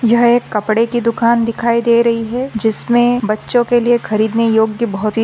यह एक कपड़े कि दुकान दिखाई दे रही है जिसमे बच्चों के लिए खरीदने योग्य बहुत ही--